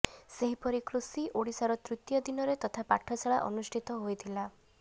ସେହିପରି କୃଷି ଓଡିଶାର ତୃତୀୟ ଦିନରେ ତଥା ପାଠଶାଳା ଅନୁଷ୍ଠିତ ହୋଇଥିଲା